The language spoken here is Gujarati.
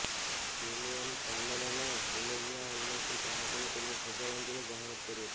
ડેમિઅન શાઝેલ અને ઓલીવિયા હેમિલ્ટનએ ચાહકોને તેમની સગાઈ અંગેની જાહેરાત કરી હતી